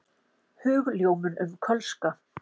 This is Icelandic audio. Hugljómun um kölska.